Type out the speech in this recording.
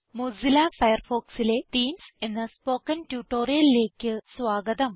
Mozilla Firefoxലെ themes എന്ന spoken ട്യൂട്ടോറിയലിലേക്ക് സ്വാഗതം